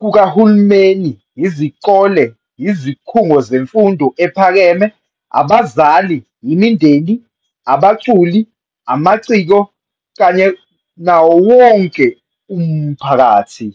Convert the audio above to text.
kukahulumeni, izikole, izikhungo zemfundo ephakeme, abazali, imindeni, abaculi, amaciko, kanye nawo wonke umphakathi.